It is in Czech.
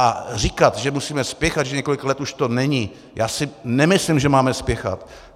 A říkat, že musíme spěchat, že několik let už to není - já si nemyslím, že máme spěchat.